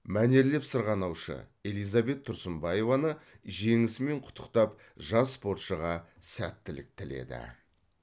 мәнерлеп сырғанаушы элизабет тұрсынбаеваны жеңісімен құттықтап жас спортшыға сәттілік тіледі